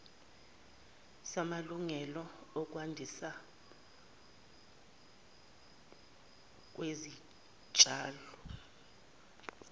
samalungelo okwandiswa kwesitshalo